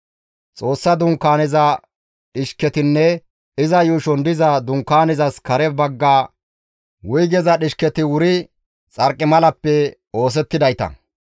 Xoossa Dunkaaneza dhishketinne iza yuushon diza Dunkaanezas kare bagga wuygeza dhishketi wuri xarqimalappe oosettidayta.